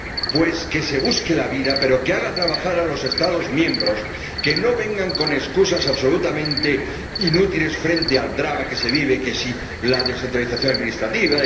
Pues que se busque la vida, pero que haga trabajar a los Estados miembros, que no vengan con excusas absolutamente inútiles frente al drama que se vive que si la descentralización administrativa